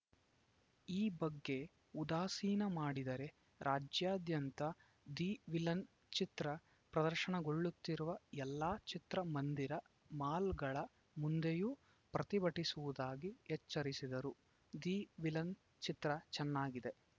ಈ ಬಗ್ಗೆ ಉದಾಸೀನ ಮಾಡಿದರೆ ರಾಜ್ಯಾದ್ಯಂತ ದಿ ವಿಲನ್‌ ಚಿತ್ರ ಪ್ರದರ್ಶನಗೊಳ್ಳುತ್ತಿರುವ ಎಲ್ಲಾ ಚಿತ್ರ ಮಂದಿರ ಮಾಲ್‌ಗಳ ಮುಂದೆಯೂ ಪ್ರತಿಭಟಿಸುವುದಾಗಿ ಎಚ್ಚರಿಸಿದರು ದಿ ವಿಲನ್‌ ಚಿತ್ರ ಚನ್ನಾಗಿದೆ